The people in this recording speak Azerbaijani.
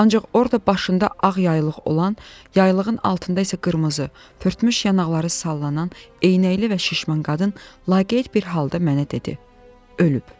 Ancaq orda başında ağ yaylıq olan, yaylığın altında isə qırmızı, fırtmış yanaqları sallanan, eynəkli və şişman qadın laqeyd bir halda mənə dedi: Ölüb.